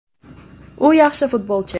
U yaxshi futbolchi.